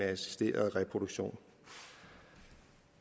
af assisteret reproduktion